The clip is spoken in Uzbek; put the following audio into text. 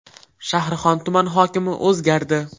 Shahrixon tumani hokimi o‘zgardi.